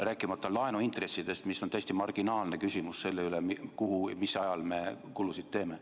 Rääkimata laenuintressidest, mis on täiesti marginaalne küsimus selle üle, kuhu ja mis ajal me kulutusi teeme.